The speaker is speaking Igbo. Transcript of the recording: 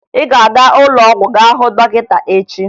Ị ga-aga ụlọọgwụ gá hụ dọkịta echi!